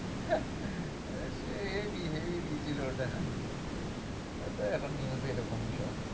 সে heavy heavy দিয়েছিলো ওটা হ্যাঁ, তো এখন news ই এরকম সব।